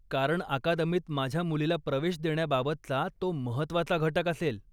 कारण अकादमीत माझ्या मुलीला प्रवेश देण्याबाबतचा तो महत्त्वाचा घटक असेल.